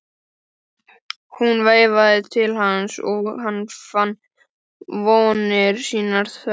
Hún veifaði til hans og hann fann vonir sínar þverra.